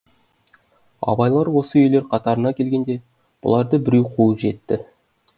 абайлар осы үйлер қатарына келгенде бұларды біреу қуып жетті